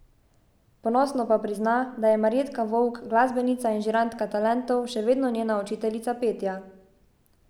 Ponosno pa prizna, da je Marjetka Vovk, glasbenica in žirantka Talentov, še vedno njena učiteljica petja.